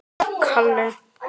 Og brosti!